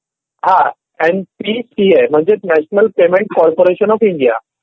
हा. N P C I म्हणजे national payment corporation of India.